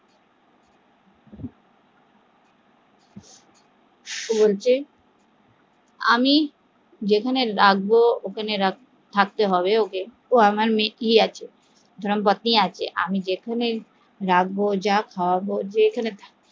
ও বলছে আমি যেখানে রাখবো থাকতে হবে ওকে ও আমার মেয়েই আছে আমার পত্নী আছে আমি যেখানে রাখবো